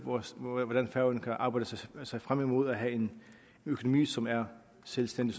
hvordan færøerne kan arbejde sig frem imod at have en økonomi som er selvstændig